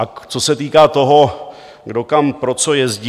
A co se týká toho, kdo kam pro co jezdí.